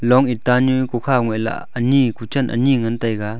long itta nu kukha ngoilah anyi kuchen anyi ngan taiga.